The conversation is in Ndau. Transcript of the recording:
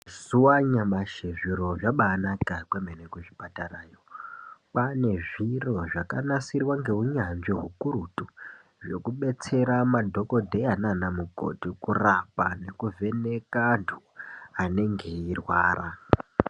Mazuwa anyamashi zviro zvabaanaka kwemene kuzvipatarayo. Kwaane zviro zvakanasirwa ngeunyanzvi hukurutu. Zvekubetsera madhokodheya nanamukoti kurapa nekuvheneka antu anenge eirwara.